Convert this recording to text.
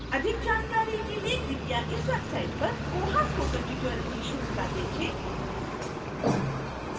अधिक जानकारी के लिए कृपया इस website पर koha spoken tutorial की श्रृंखला देखें